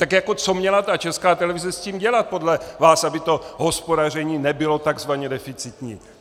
Tak jako co měla ta Česká televize s tím dělat podle vás, aby to hospodaření nebylo tzv. deficitní?